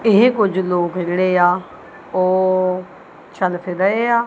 ਇਹ ਕੁਝ ਲੋਕ ਜਿਹੜੇ ਆ ਉਹ ਚੱਲ।